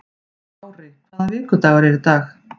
Ári, hvaða vikudagur er í dag?